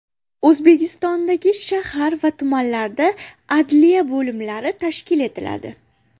O‘zbekistondagi shahar va tumanlarda adliya bo‘limlari tashkil etiladi.